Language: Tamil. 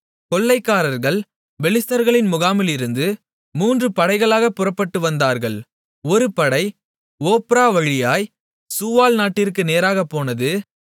கொள்ளைக்காரர்கள் பெலிஸ்தர்களின் முகாமிலிருந்து மூன்று படைகளாகப் புறப்பட்டு வந்தார்கள் ஒரு படை ஒப்ரா வழியாய்ச் சூவால் நாட்டிற்கு நேராகப்போனது